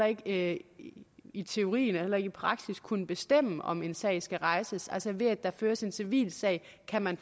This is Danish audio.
ikke i teorien og heller ikke i praksis kunne bestemme om en sag skal rejses altså ved at der føres en civil sag kan man